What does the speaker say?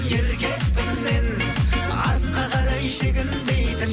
еркекпін мен артқа қарай шегінбейтін